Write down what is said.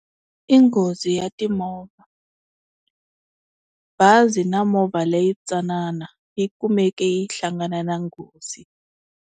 I nghozi ya timovha bazi na movha leyi tsanana yi kumeke yi hlangana na nghozi.